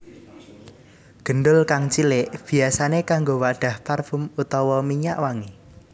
Gendul kang cilik biyasané kanggo wadhah parfum utawa minyak wangi